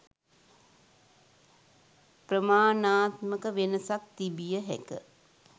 ප්‍රමාණාත්මක වෙනසක් තිබිය හැක